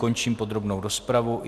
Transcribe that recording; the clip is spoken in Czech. Končím podrobnou rozpravu.